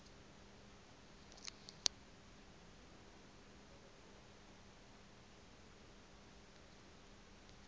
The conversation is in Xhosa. apho umawethu lo